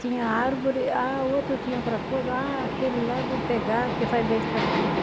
Tinha árvore, a outra tinha outra coisa, aquele lá eu vou pegar que faz bem para aquilo.